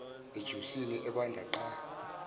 ejusini ebanda qa